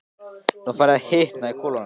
Nú er farið að hitna í kolunum.